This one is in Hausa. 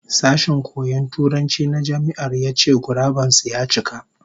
Sashen koyon Turanci na Jami'ar ya ce guraben su ya cika